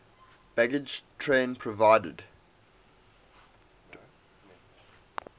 baggage train provided